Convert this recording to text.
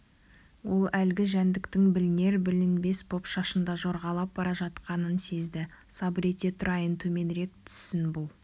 ол әлгі жәндіктің білінер-білінбес боп шашында жорғалап бара жатқанын сезді сабыр ете тұрайын төменірек түссін бұл